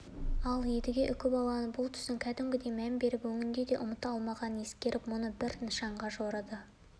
қысып-қысып ұстап тұрсам дер екен де балықты соңынан қуа беріпті алтын бекіре ақыры ұстатпай кетеді қалайда